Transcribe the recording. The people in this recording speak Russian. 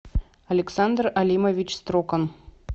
александр алимович строкан